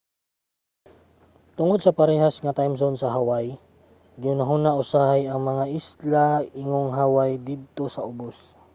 tungod sa parehas nga timezone sa hawaii gihunahuna usahay ang mga isla ingong hawaii didto sa ubos